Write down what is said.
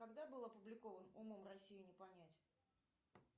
когда был опубликован умом россию не понять